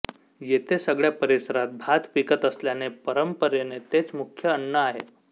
येथे सगळ्या परिसरात भात पिकत असल्याने परंपरेने तेच मुख्य अन्न आहे